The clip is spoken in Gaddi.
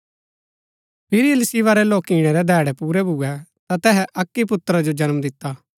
फिरी इलीशिबा रै लोकिणै रै धैङै पूरै भुऐ ता तैसै अक्की पुत्रा जो जन्म दिता